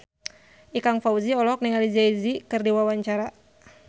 Ikang Fawzi olohok ningali Jay Z keur diwawancara